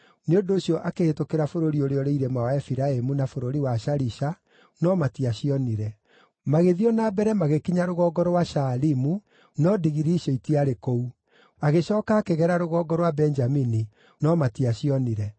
Nĩ ũndũ ũcio akĩhĩtũkĩra bũrũri ũrĩa ũrĩ irĩma wa Efiraimu na bũrũri wa Shalisha, no matiacionire. Magĩthiĩ o na mbere magĩkinya rũgongo rwa Shaalimu no ndigiri icio itiarĩ kũu. Agĩcooka akĩgera rũgongo rwa Benjamini, no matiacionire.